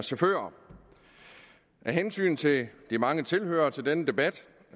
chauffører af hensyn til de mange tilhørere til denne debat